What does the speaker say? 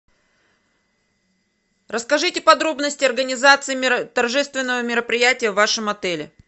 расскажите подробности организации торжественного мероприятия в вашем отеле